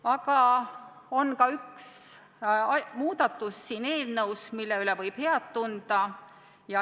Aga siin eelnõus on ka üks selline muudatus, mille üle võib heameelt tunda.